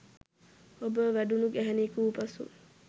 ඔබ වැඩුණු ගැහැණියක වූ පසු